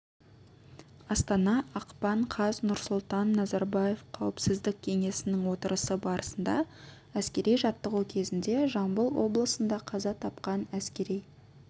астана ақпан қаз нұрсұлтан назарбаевқауіпсіздік кеңесінің отырысы барысында әскери жаттығу кезінде жамбыл облысында қаза тапқан әскери